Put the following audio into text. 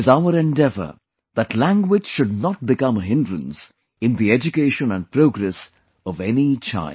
It is our endeavour that language should not become a hindrance in the education and progress of any child